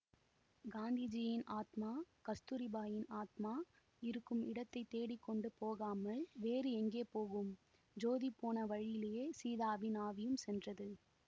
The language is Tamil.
காந்திஜியின் ஆத்மா கஸ்தூரிபாயின் ஆத்மா இருக்கும் இடத்தை தேடி கொண்டு போகாமல் வேறு எங்கே போகும் ஜோதி போன வழியிலேயே சீதாவின் ஆவியும் சென்றது